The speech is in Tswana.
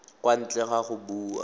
kwa ntle ga go bua